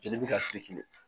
Jeli bɛ ka